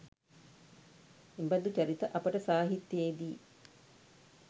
එබඳු චරිත අපට සාහිත්‍යයේ දී